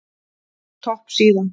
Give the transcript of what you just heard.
Topp síða